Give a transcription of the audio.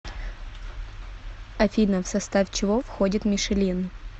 афина в состав чего входит мишелин